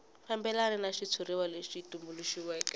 fambelana ni xitshuriwa lexi tumbuluxiweke